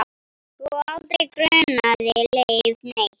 Og aldrei grunaði Leif neitt.